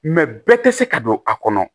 bɛɛ tɛ se ka don a kɔnɔ